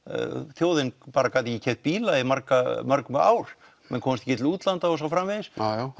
þjóðin bara gat ekki keypt bíla í mörg mörg ár menn komust ekki til útlanda og svo framvegis